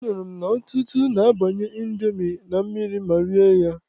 Anụrụ m na ọtụtụ na-abanye Indomi na mmiri ma rie ya.